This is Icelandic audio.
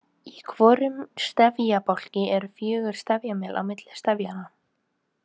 Í hvorum stefjabálki eru fjögur stefjamél á milli stefjanna.